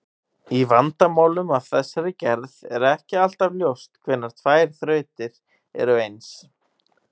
Í vandamálum af þessari gerð er ekki alltaf ljóst hvenær tvær þrautir eru eins.